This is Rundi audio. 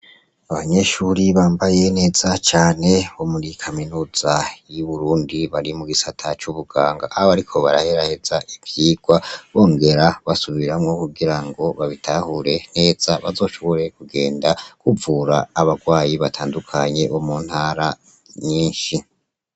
Abanyeshuri bambaye neza cane bomuri kaminuza y'Uburundi bari mu gisata c'ubuganga, bariko baraheraheza ivyigwa bongera basubiramwo kugira ngo babitahure neza bazoshobore kugenda kuvura abagwayi batandukanye bo mu ntara nyinshi.